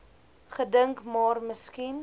gedink maar miskien